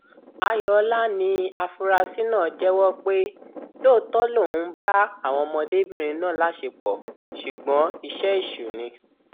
ayọọlá ni afurasí náà jẹwọ pé lóòótọ lòun ń bá àwọn ọmọdébìnrin náà láṣepọ ṣùgbọn iṣẹ èṣù ni